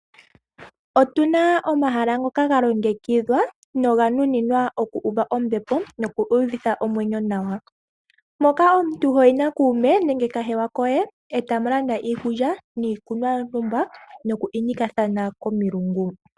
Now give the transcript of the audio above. Otuna omahala ngoka ga longekidhwa noga nuninwa oku uva ombepo noku uvitha omwenyo nawa, moka omuntu hoyi na kuume nenge kahewa koye etamu landa iikulya niikunwa yontumba nokunikathana komilungu.